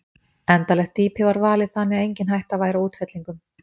Endanlegt dýpi var valið þannig að engin hætta væri á útfellingum.